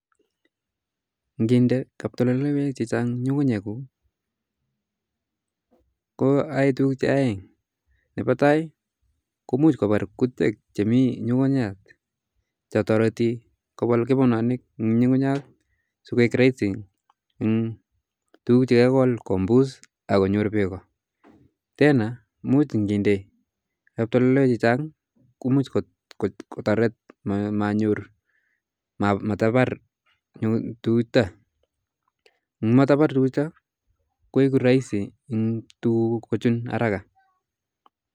Nginde kaptoltoloiwek chechang' nyukunyek kuuk ko ae tukuk aeng, nepa tai ko muj kobar kutyek che mi nyukuyat cho toriti kopal kepenonik eng nyukunyat sokeek raisi eng tukuk che kekol kombus akonyor beko ,tena muj ngindee kaptoltoiwek chechang' ko muj kotoret matabar tukuk chuta, ngotomabar koek raisi eng tukuk kochun haraka